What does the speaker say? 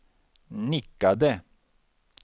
nickade